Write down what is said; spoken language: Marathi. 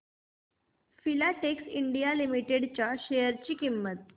फिलाटेक्स इंडिया लिमिटेड च्या शेअर ची किंमत